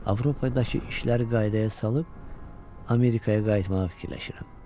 Avropadakı işləri qaydaya salıb Amerikaya qayıtmağı fikirləşirəm.